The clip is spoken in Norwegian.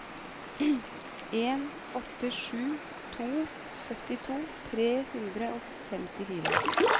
en åtte sju to syttito tre hundre og femtifire